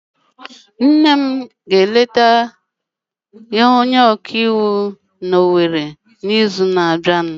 Nne m ga-eleta onye ọka iwu n'Owere n'izu na-abịa.